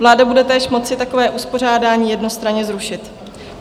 Vláda bude též moci takové uspořádání jednostranně zrušit.